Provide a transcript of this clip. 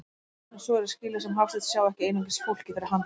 En svo er að skilja sem Hafsteinn sjái ekki einungis fólkið fyrir handan.